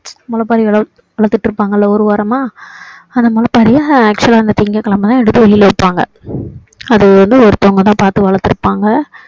முளைப்பாறி வளர்த்துட்டு இருப்பாங்கல்ல ஒரு வாரமா அந்த முளைப்பாறிய actual லா வந்து திங்கட்கிழமை தான் எடுத்து வெளில வைப்பாங்க அதை வந்து ஒருத்தவங்க தான் பார்த்து வளர்த்து இருப்பாங்க